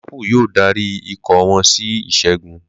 Liverpool yóò darí ikọ̀ wọn sí ìṣẹ́gun.